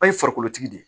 An ye farikolo tigi de ye